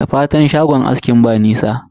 Da fatan shagon askin ba nisa?